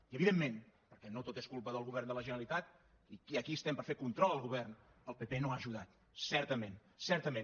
i evidentment perquè no tot és culpa del govern de la generalitat i aquí estem per fer control al govern el pp no ha ajudat certament certament